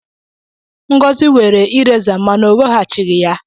Ngọzi were ireza m mana o weghachighi ya